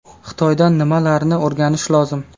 Xitoydan nimalarni o‘rganish lozim?